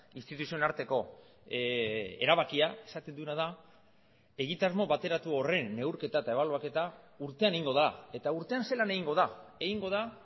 instituzioen arteko erabakia esaten duena da egitasmo bateratu horren neurketa eta ebaluaketa urtean egingo da eta urtean zelan egingo da egingo da